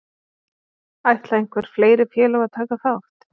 Ætla einhver fleiri félög að taka þátt?